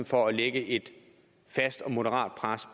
for at lægge et fast og moderat pres